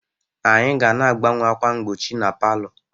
anyị ga na-agbanwe ákwà mgbochi na palọ